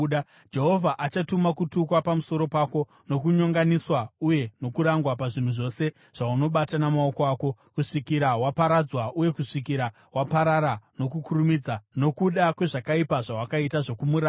Jehovha achatuma kutukwa pamusoro pako, nokunyonganiswa uye nokurangwa pazvinhu zvose zvaunobata namaoko ako, kusvikira waparadzwa uye kusvikira waparara nokukurumidza nokuda kwezvakaipa zvawakaita zvokumuramba.